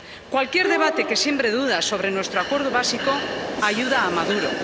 Cualquier debate que siembre dudas sobre nuestro acuerdo básico ayuda a Maduro.